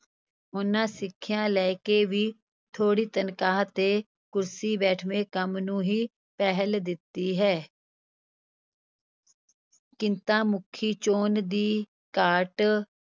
ਉਨ੍ਹਾਂ ਸਿੱਖਿਆ ਲੈ ਕੇ ਵੀ ਥੋੜੀ ਤਨਖਾਹ 'ਤੇ ਕੁਰਸੀ-ਬੈਠਵੇਂ ਕੰਮ ਨੂੰ ਹੀ ਪਹਿਲ ਦਿੱਤੀ ਹੈ ਕਿੱਤਾਮੁਖੀ ਚੋਣ ਦੀ ਘਾਟ,